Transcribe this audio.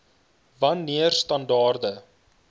wan neer standaarde